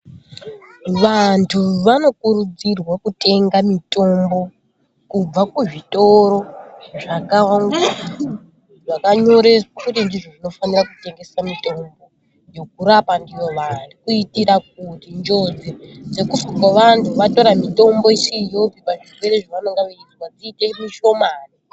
Vantu vanokurudzirwa kutenga mitombo kubva kuzvitoro zvakanyoreswa kuti ndizvo zvinofanira kutengesa mitombo yokurapa ndiyo vantu kuitira kuti njodzi dzekufa kwevanthu vatora mitombo isiriyo pazvirwere zvevanenge veizwa iite mishomani.